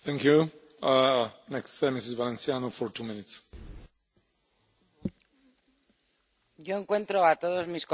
Señor presidente, yo encuentro a todos mis colegas muy prudentes, la verdad.